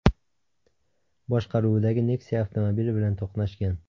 boshqaruvidagi Nexia avtomobili bilan to‘qnashgan.